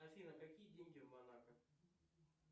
афина какие деньги в монако